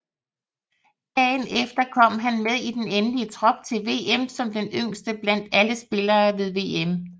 Dagen efter kom han med i den endelige trup til VM som den yngste blandt alle spillere ved VM